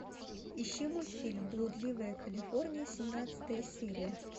ищи мультфильм блудливая калифорния семнадцатая серия